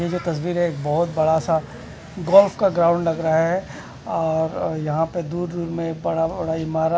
ये जो तस्वीर है बहोत बड़ा सा गोल्फ का ग्राउंड लग रहा है और यहां पे दूदू में बड़ा बड़ा इमारत--